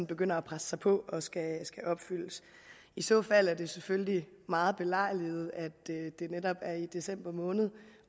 begynder at presse sig på og skal opfyldes i så fald er det selvfølgelig meget belejligt at det netop er i december måned